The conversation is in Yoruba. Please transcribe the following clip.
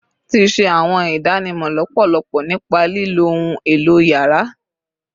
Ti ṣe awọn idanwo lọpọlọpọ nipa lilo ohun elo yàrá